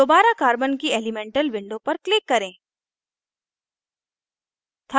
दोबारा carbon की elemental window पर click करें